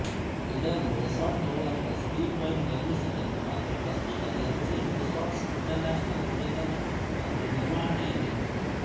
ಇದನ್ನು resort developer Steve Wynn ನಿರ್ಮಿಸಿದರು ಮತ್ತು ಪ್ರಸ್ತುತ ಎಮ್ಜಿಎಮ್ ರೆಸಾರ್ಟ್ಸ್ ಇಂಟರ್ನ್ಯಾಷನಲ್ ಒಡೆತನ ಮತ್ತು ನಿರ್ವಹಣೆಯಲ್ಲಿದೆ